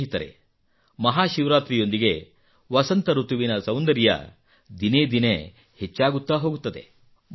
ಸ್ನೇಹಿತರೇ ಮಹಾಶಿವರಾತ್ರಿಯೊಂದಿಗೇ ವಸಂತ ಋತುವಿನ ಸೌಂದರ್ಯ ದಿನೇ ದಿನೇ ಹೆಚ್ಚಾಗುತ್ತಾ ಹೋಗುತ್ತದೆ